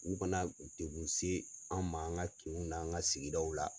U kana degun se an ma an ka kinw n'an ka sigi daw la.